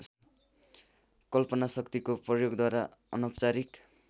कल्पनाशक्तिको प्रयोगद्वारा अनौपचारिक